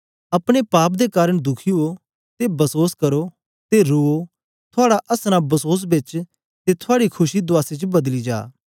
अपने पाप दे कारन दुखी उओ ते बसोस करो ते रुओ थुआड़ा असनां बसोस बेच ते थूआडी खुशी दुआसी च बदली जा